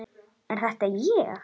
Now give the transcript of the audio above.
Er þetta ég?